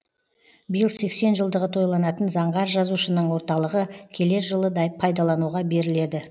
биыл сексен жылдығы тойланатын заңғар жазушының орталығы келер жылы пайдалануға беріледі